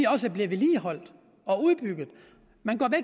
også bliver vedligeholdt og udbygget man